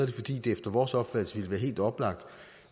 fordi det efter vores opfattelse ville være helt oplagt